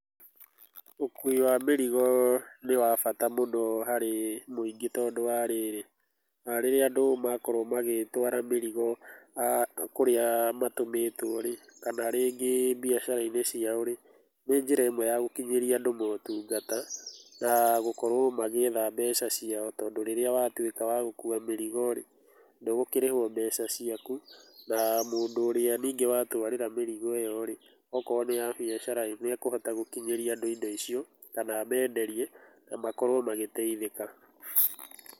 Ũkui wa mĩrigo nĩ wabata mũno harĩ mũingĩ, tondũ wa rĩrĩ, rĩrĩa andũ makorwo magĩtwara mĩrigo kũrĩa matũmĩtwo rĩ kana rĩngĩ biacara-inĩ ciao rĩ, nĩ njĩra ĩmwe ya gũkinyĩria andũ motungata, na gũkorwo magĩetha mbeca ciao, tondũ rĩrĩa watuĩka wagũkũa mĩrigo rĩ, ndũgũkĩrĩhwo mbeca ciaku na mũndũ ũrĩa ningĩ wa twarĩra mĩrigo ĩ yo rĩ, akorwo nĩ ya biacara nĩekũhota gũkinyĩria andũ indo icio kana amenderie namakorwo magĩteithĩka.